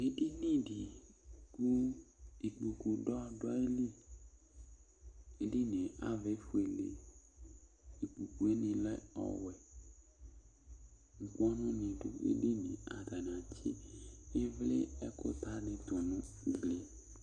Ɛɖìní ɖi kʋ ikpoku ɖu aɣili Ɛɖìníe avaɛ efʋele Ikpoku ŋi lɛ ɔwɛ Ukponu ni ɖu ɛɖìníe Ataŋi atsi ivli, ɛkʋta ɖi tu ŋu ɛɖìníe